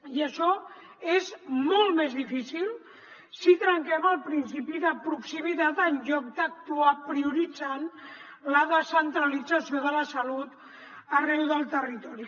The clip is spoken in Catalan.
i això és molt més difícil si trenquem el principi de proximitat en lloc d’actuar prioritzant la descentralització de la salut arreu del territori